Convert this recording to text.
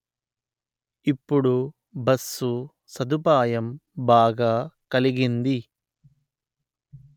ఇప్పుడు బస్సు సదుపాయం బాగా కలిగింది